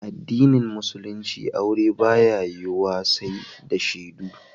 A addinin musulinci aure ba ya yiwu wa sai da shedu